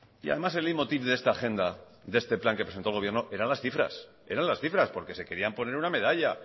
y además el leitmotiv de esta agenda de este plan que presentó el gobierno eran las cifras porque se querían poner una medalla